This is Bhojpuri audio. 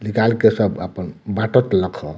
निकल के सब आपन बाटत लखअ।